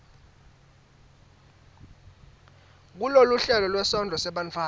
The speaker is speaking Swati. kuloluhlelo lwesondlo sebantfwana